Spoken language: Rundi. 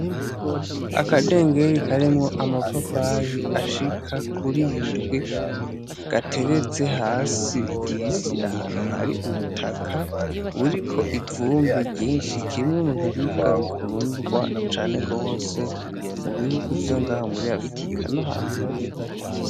Akadengeri karimwo amapapayi ashika kuri indwi gateretse hasi ku isi ahantu hari ubutaka buriko ivumbi ryinshi kimwe mubiribwa bikundwa cane gose mu bihugu vyo ngaha muri afirika no hanze y'ibihugu.